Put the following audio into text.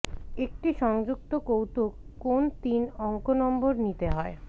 একটি সংযুক্ত কৌতুক কোন তিন অঙ্ক নম্বর নিতে হয়